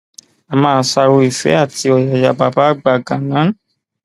a máa ṣàárò ìfẹ àti ọyàyà bàbá àgbà ganan